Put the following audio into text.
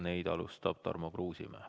Neid alustab Tarmo Kruusimäe.